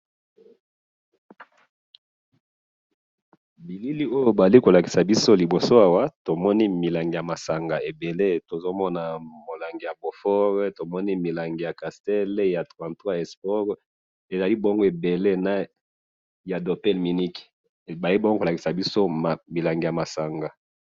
Awa balakisi biso milangi ya masanga ebele.